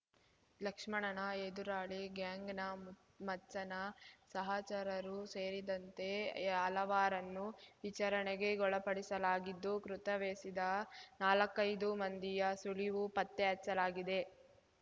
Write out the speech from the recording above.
ಲಕ್ಷ್ಮಣನ ಎದುರಾಳಿ ಗ್ಯಾಂಗ್‌ನ ಮಚ್ಚನ ಸಹಚರರೂ ಸೇರಿದಂತೆ ಹಲಾವರನ್ನು ವಿಚಾರಣೆಗೊಳಪಡಿಸಲಾಗಿದ್ದು ಕೃತವೆಸೆದ ನಾಲ್ಕೈದು ಮಂದಿಯ ಸುಳಿವು ಪತ್ತೆ ಹಚ್ಚಲಾಗಿದೆ